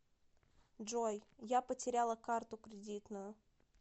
джой я потеряла карту кредитную